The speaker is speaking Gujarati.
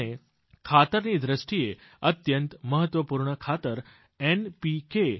અને ખાતરની દ્રષ્ટિએ અત્યંત મહત્વપૂર્ણ ખાતર એનપીકે